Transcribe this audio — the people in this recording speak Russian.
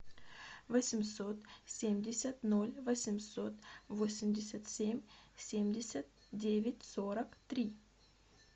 восемьсот семьдесят ноль восемьсот восемьдесят семь семьдесят девять сорок три